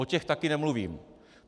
O těch také nemluvím.